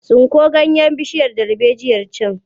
Tsinko ganyen bishiyar darbejiyar can!